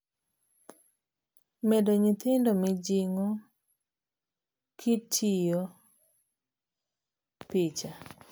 Medo Nyithindo Mijing'o kitiyo Picha.